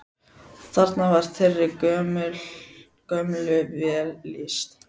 Þarna var þeirri gömlu vel lýst.